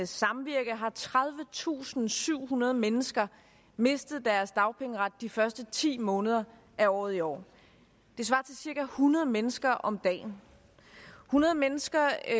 samvirke har tredivetusinde og syvhundrede mennesker mistet deres dagpengeret de første ti måneder af året i år det svarer til cirka hundrede mennesker om dagen hundrede mennesker